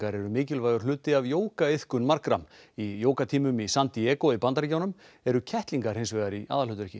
eru mikilvægur hluti af jógaiðkun margra í jógatímum í San Diego í Bandaríkjunum eru kettlingar hins vegar í aðalhlutverki